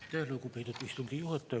Aitäh, lugupeetud istungi juhataja!